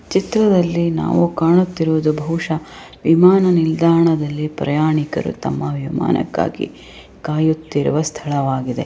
ಚಿತ್ರದಲ್ಲಿ ನಾವು ಕಾಣುತ್ತಿರುವುದು ಬಹುಶ ವಿಮಾನ ನಿಲ್ದಾಣದಲ್ಲಿ ಪ್ರಯಾಣಿಕರು ತಮ್ಮ ವಿಮಾನಕ್ಕಾಗಿ ಕಾಯುತ್ತಿರುವ ಸ್ಥಳವಾಗಿದೆ.